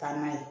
Ka n'a ye